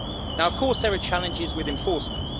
Now there are, of course, challenges with enforcement.